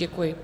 Děkuji.